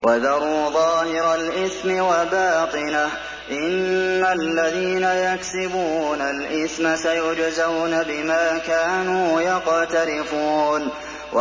وَذَرُوا ظَاهِرَ الْإِثْمِ وَبَاطِنَهُ ۚ إِنَّ الَّذِينَ يَكْسِبُونَ الْإِثْمَ سَيُجْزَوْنَ بِمَا كَانُوا يَقْتَرِفُونَ